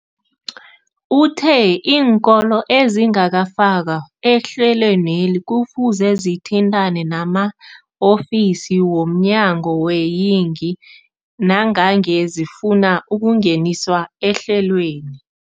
Uthe iinkolo ezingakafakwa ehlelweneli kufuze zithintane nama-ofisi wo mnyango weeyingi nangange zifuna ukungeniswa ehlelweni.